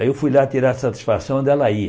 Aí eu fui lá tirar satisfação onde ela ia.